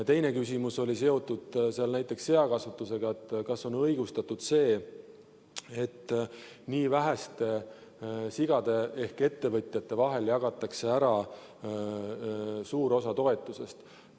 Teine küsimus oli seotud näiteks seakasvatusega, et kas on õigustatud see, et nii väheste ettevõtjate vahel jagatakse ära suur osa toetusest.